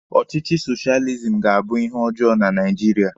Ọchịchị soshializim ga-abụ ihe ọjọọ na Naijiria.